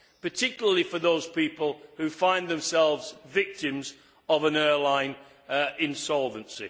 particularly for those people who find themselves victims of an airline insolvency.